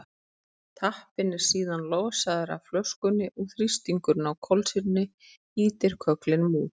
tappinn er síðan losaður af flöskunni og þrýstingurinn á kolsýrunni ýtir kögglinum út